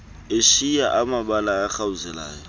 eshiya mabala arhawuzelayo